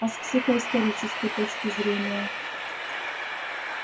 а с психоисторической точки зрения